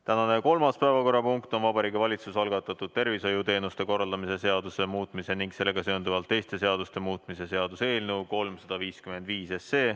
Tänane kolmas päevakorrapunkt on Vabariigi Valitsuse algatatud tervishoiuteenuste korraldamise seaduse muutmise ning sellega seonduvalt teiste seaduste muutmise seaduse eelnõu 355.